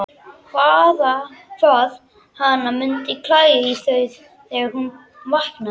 Hvað hana mundi klæja í þau þegar hún vaknaði!